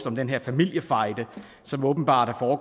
om den her familiefejde som åbenbart